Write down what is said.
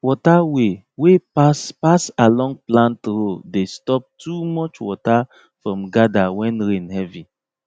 water way wey pass pass along plant row dey stop too much water from gather when rain heavy